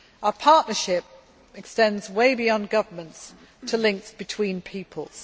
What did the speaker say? Our partnership extends way beyond governments to links between peoples.